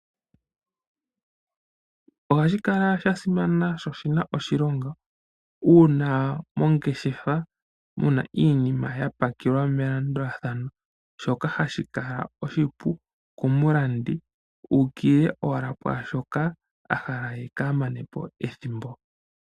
Ohashi kala sha simana sho oshina oshilongo uuna mongeshefa muna iinima yapakelwa melandulathano, shoka hashi kala oshipu komulandi uukilile owala kwaashoka a hala ye kaamane po ethimbo.